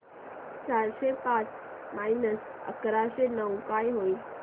चारशे पाच मायनस एकशे नऊ काय होईल